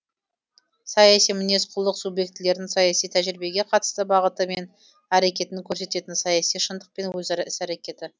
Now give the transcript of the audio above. саяси мінез құлық субъектілердің саяси тәжірибеге қатысты бағыты мен әрекетін көрсететін саяси шындық пен өзара іс әрекеті